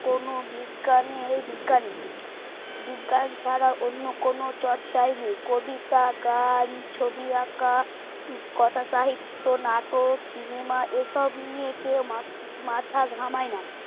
কোনো বিজ্ঞান এর বিজ্ঞানী বিজ্ঞান ছাড়া অন্য কোনো চর্চাই নেই কবিতা গান ছবি আঁকা কথা সাহিত্য নাটক cinema এসব নিয়ে কেউ মা মাথা ঘামায় না